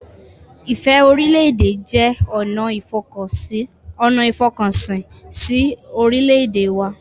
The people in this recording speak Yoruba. Ìfẹ́-orílẹ̀-èdè jẹ́ ọ̀nà ìfọkànsìn si orílẹ̀-èdè wa